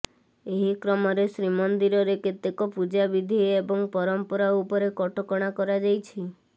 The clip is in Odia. ଏହି କ୍ରମରେ ଶ୍ରୀମନ୍ଦିରରେ କେତେକ ପୂଜାବିଧି ଏବଂ ପରମ୍ପରା ଉପରେ କଟକଣା କରାଯାଇଛି